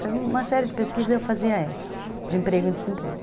Faz uma série de pesquisas e eu fazia essa, de emprego e desemprego.